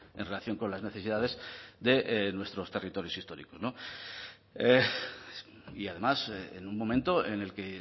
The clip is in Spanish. en relación con las necesidades de nuestros territorios históricos y además en un momento en el que